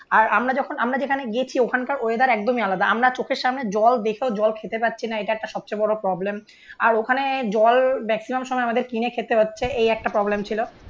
আর আমরা যখন আমরা যেখানে গেছি ওখানকার ওয়েদার একদমই আলাদা. আমরা চোখের সামনে জল দেখেও জল খেতে পারছি না. এটা একটা সবচেয়ে বড় প্রবলেম. আর ওখানে জল ম্যাক্সিমাম সময় আমাদের কিনে খেতে হচ্ছে. এই একটা প্রবলেম ছিল.